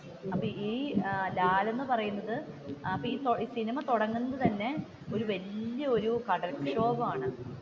അപ്പൊ ഈ ലാൽ എന്ന് പറയുന്നത് അപ്പോ ഈ സിനിമ തുടങ്ങുന്നത് തന്നെ ഒരു വല്യ ഒരു കടൽ ക്ഷോഭമാണ്.